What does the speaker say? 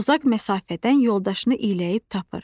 O uzaq məsafədən yoldaşını iyləyib tapır.